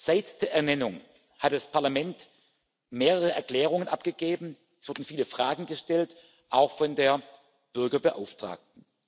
Seit der Ernennung hat das Parlament mehrere Erklärungen abgegeben, es wurden viele Fragen gestellt, auch von der Bürgerbeauftragten.